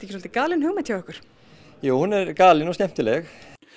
svolítið galin hugmynd hjá ykkur jú hún er galin og skemmtileg